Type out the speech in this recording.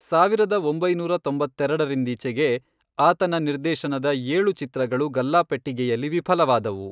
ಸಾವಿರದ ಒಂಬೈನೂರ ತೊಂಬತ್ತೆರೆಡರಿಂದೀಚೆಗೆ, ಆತನ ನಿರ್ದೇಶನದ ಏಳು ಚಿತ್ರಗಳು ಗಲ್ಲಾಪೆಟ್ಟಿಗೆಯಲ್ಲಿ ವಿಫಲವಾದವು.